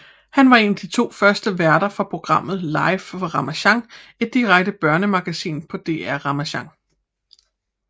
Han var en af de to første værter fra programmet Live fra Ramasjang et direkte børnemagasin på DR Ramasjang